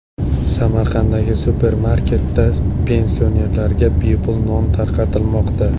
Samarqanddagi supermarketda pensionerlarga bepul non tarqatilmoqda.